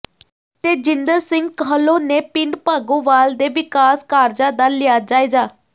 ਤੇਜਿੰਦਰ ਸਿੰਘ ਕਾਹਲੋਂ ਨੇ ਪਿੰਡ ਭਾਗੋਵਾਲ ਦੇ ਵਿਕਾਸ ਕਾਰਜਾਂ ਦਾ ਲਿਆ ਜਾਇਜ਼ਾ